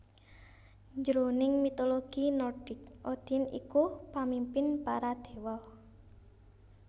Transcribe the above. Jroning Mitologi Nordik Odin iku pamimpin para Déwa